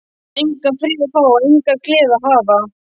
Á ég engan frið að fá, enga gleði að hafa?